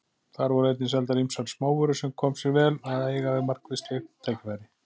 Þar voru einnig seldar ýmsar smávörur sem kom sér vel að eiga við margvísleg tækifæri.